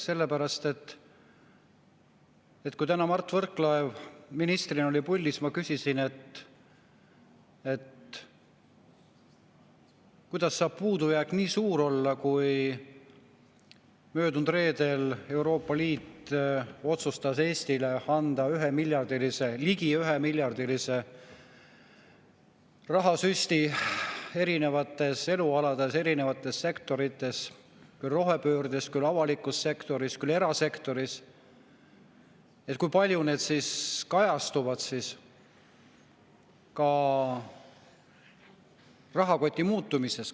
Sellepärast, et kui Mart Võrklaev ministrina oli täna puldis, siis ma küsisin, kuidas saab puudujääk nii suur olla ning kui möödunud reedel Euroopa Liit otsustas Eestile anda ligi ühemiljardilise rahasüsti eri elualadel, eri sektorites – küll rohepöördeks, küll avalikus sektoris, küll erasektoris –, siis kui palju see kajastub rahakoti muutumises.